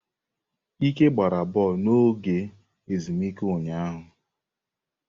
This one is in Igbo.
Ike gbara bọọlụ n'oge ezumike ụnyaahụ.